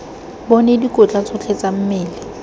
bone dikotla tsotlhe tse mmele